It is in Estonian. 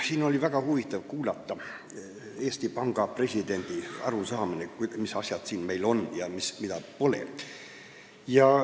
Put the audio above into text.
Siin oli väga huvitav kuulata Eesti Panga presidendi arusaamist sellest, mis asjad meil siin on ja mida pole.